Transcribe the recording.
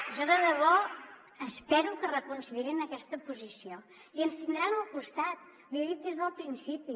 jo de debò espero que reconsiderin aquesta posició i ens tindran al costat l’hi he dit des del principi